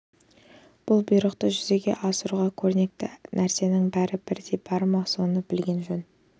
бұл бұйрықты жүзеге асыруға керекті нәрсенің бәрі бірдей бар ма соны білген жөн